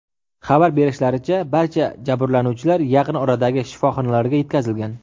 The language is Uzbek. Xabar berishlaricha, barcha jabrlanuvchilar yaqin oradagi shifoxonalarga yetkazilgan.